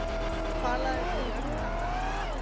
Falaðirðu jörðina af Daða?